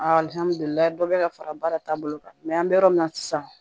Alihamudulila dɔ be ka fara baara taabolo kan an be yɔrɔ min na sisan